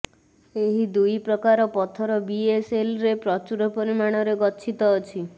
ଏହି ଦୁଇ ପ୍ରକାର ପଥର ବିଏସ୍ଏଲ୍ରେ ପ୍ରଚୁର ପରିମାଣରେ ଗଚ୍ଛିତ ଅଛି